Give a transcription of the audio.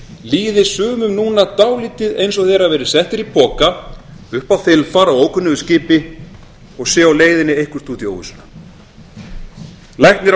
líði sumum núna dálítið eins og þeir hafi verið settir í poka upp á þilfar á ókunnugu skipi og séu á leiðinni eitthvert út í óvissuna læknir